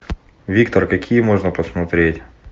виктор какие можно посмотреть